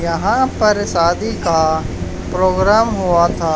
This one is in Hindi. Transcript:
यहां पर शादी का प्रोग्राम हुआ था।